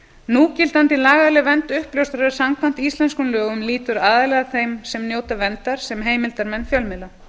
núgildandi lagaleg vernd uppljóstrara samkvæmt íslenskum lögum lýtur aðallega að þeim sem njóta verndar sem heimildarmenn fjölmiðla